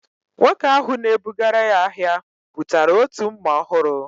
Nwoke ahu na-ebugara ya ahịa, bụtara otu mma ọhụrụ